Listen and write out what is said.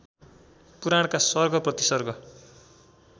पुराणका सर्ग प्रतिसर्ग